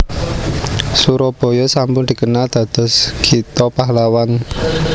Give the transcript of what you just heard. Surabaya sampun dikenal dados kitha pahlawan